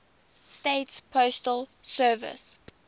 states postal service